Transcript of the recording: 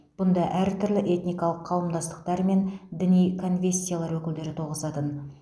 бұнда әртүрлі этникалық қауымдастықтар мен діни конфессиялар өкілдері тоғысатын